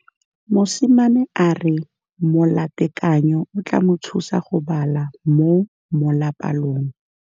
Mosimane a re molatekanyô o tla mo thusa go bala mo molapalong.